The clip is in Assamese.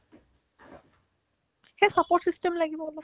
সেই support system লাগিব অলপ